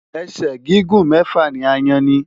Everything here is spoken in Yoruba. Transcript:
Ẹ̀sẹ̀ gígùn mẹ́fà ni aáyán ní.